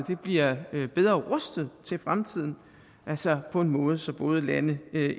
bliver bedre rustet til fremtiden på en måde så både lande